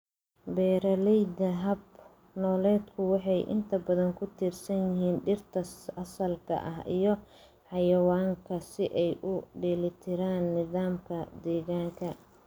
Beeralayda hab-nololeedku waxay inta badan ku tiirsan yihiin dhirta asalka ah iyo xayawaanka si ay u dheelitiraan nidaamka deegaanka.